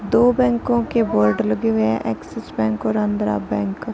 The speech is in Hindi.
दो बैंकों के बोर्ड लगे हुए हैं एक्सिस बैंक और आंध्र बैंक का --